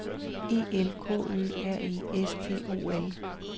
E L K Ø R E S T O L